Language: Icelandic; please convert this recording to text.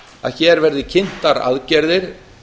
að hér verði kynntar aðgerðir